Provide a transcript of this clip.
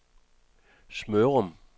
Smørum